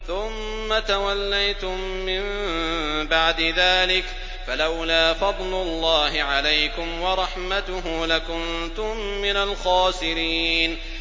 ثُمَّ تَوَلَّيْتُم مِّن بَعْدِ ذَٰلِكَ ۖ فَلَوْلَا فَضْلُ اللَّهِ عَلَيْكُمْ وَرَحْمَتُهُ لَكُنتُم مِّنَ الْخَاسِرِينَ